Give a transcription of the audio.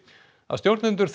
að stjórnendur